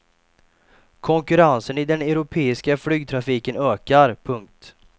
Konkurrensen i den europeiska flygtrafiken ökar. punkt